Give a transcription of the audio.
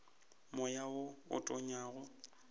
moya wo o tonyago o